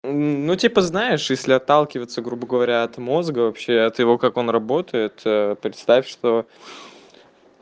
ну типа знаешь если отталкиваться грубо говоря от мозга вообще от того как он работает ээ представь что